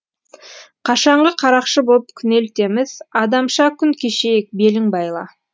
қашаңғы қарақшы боп күнелтеміз адамша күн кешейік белің байла